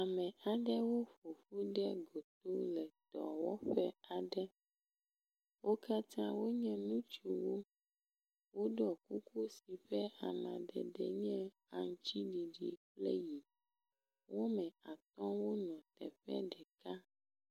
ame aɖewo ƒoƒu ɖe goto le dɔwɔƒe aɖe wókatã wonye ŋutsuwo wóɖɔ kuku si ƒe amadede nye aŋtsiɖiɖi kple yi eye wɔmɛ atɔ wóle teƒe ɖeka